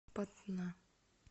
патна